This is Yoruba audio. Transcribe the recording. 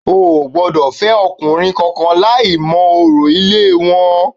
O ò gbọ́dọ̀ fẹ́ ọkùnrin kankan láì mọ orò ilé wọn